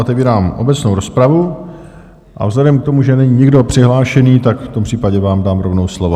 Otevírám obecnou rozpravu, a vzhledem k tomu, že není nikdo přihlášený, tak v tom případě vám dám rovnou slovo.